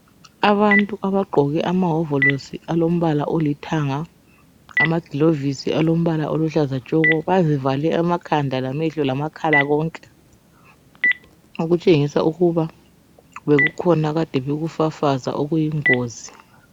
Abantu abagqoke amahovolosi alombala olithanga, amagilovisi alombala oluhlaza tshoko bazivale amakhanda lamehlo lamakhala konke okutshengisa ukuba bekukhona ekade bekufafaza okuyingozi.